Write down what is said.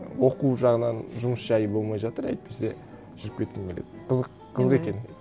оқу жағынан жұмыс жайы болмай жатыр әйтпесе жүріп кеткім келеді қызық қызық екен